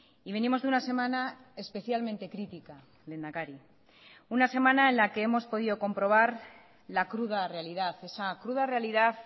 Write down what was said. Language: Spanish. y venimos de una semana especialmente crítica lehendakari una semana en la que hemos podido comprobar la cruda realidad esa cruda realidad